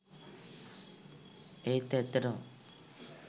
ඒත් ඇත්තටම.